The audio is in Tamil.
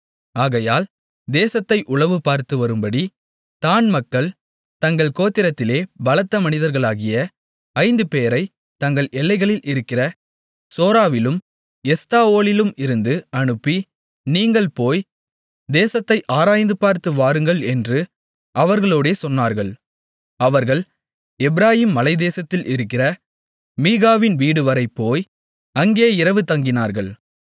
ஆகையால் தேசத்தை உளவுபார்த்து வரும்படி தாண் மக்கள் தங்கள் கோத்திரத்திலே பலத்த மனிதர்களாகிய ஐந்து பேரைத் தங்கள் எல்லைகளில் இருக்கிற சோராவிலும் எஸ்தாவோலிலும் இருந்து அனுப்பி நீங்கள் போய் தேசத்தை ஆராய்ந்துபார்த்து வாருங்கள் என்று அவர்களோடே சொன்னார்கள் அவர்கள் எப்பிராயீம் மலைத்தேசத்தில் இருக்கிற மீகாவின் வீடுவரை போய் அங்கே இரவு தங்கினார்கள்